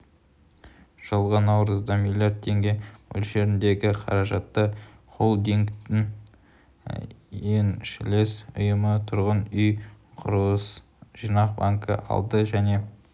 жылғы наурызда млрд теңге мөлшеріндегі қаражатты холдингтің еншілес ұйымы тұрғын үй құрылыс жинақ банкі алды және